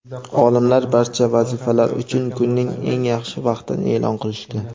Olimlar barcha vazifalar uchun kunning eng yaxshi vaqtini e’lon qilishdi:.